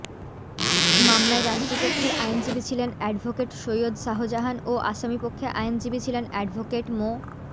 মামলায় রাষ্ট্রপক্ষের আইনজীবী ছিলেন অ্যাডভোকেট সৈয়দ শাহজাহান ও আসামি পক্ষে আইনজীবী ছিলেন অ্যাডভোকেট মো